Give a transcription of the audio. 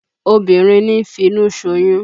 Obìnrin ní ń finu ṣoyún